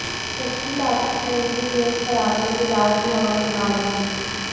सच की ताकत ने उनके सेहत खराबी के दांव की हवा निकाल दी